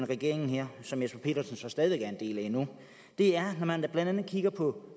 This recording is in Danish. regeringen her som herre jesper petersen stadig væk er en del af det er må man man blandt andet kigger på